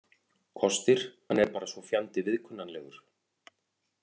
Kostir: Hann er bara svo fjandi viðkunnanlegur.